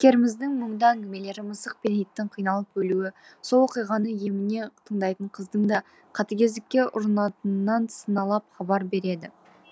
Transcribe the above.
кейіпкеріміздің мұңды әңгімелері мысық пен иттің қиналып өлуі сол оқиғаны еміне тыңдайтын қыздың да қатігездікке ұрынатынынан сыналап хабар береді